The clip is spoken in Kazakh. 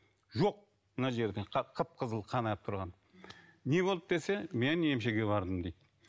жоқ мына жерде қып қызыл қан ағып тұрған не болды десе мен емшіге бардым дейді